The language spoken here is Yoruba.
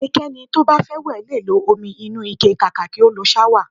Ẹnikẹ́ni to bá fẹ́ wẹ̀ lè lo omi inúu ike kàkà kí ó lo ṣáwà